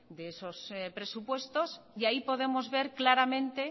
de esos presupuestos y ahí podemos ver claramente